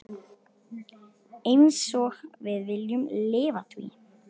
Einsog við viljum lifa því.